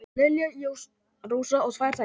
Lilja Rósa á tvær dætur.